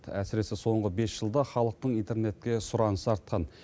әсіресе соңғы бес жылда халықтың интернетке сұранысы артқан